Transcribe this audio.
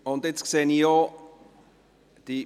Nun sehe ich auch: